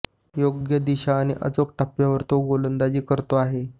योग्य दिशा आणि अचूक टप्प्यावर तो गोलंदाजी करतो आहे